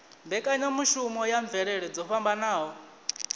mbekanyamushumo ya mvelele dzo fhambanaho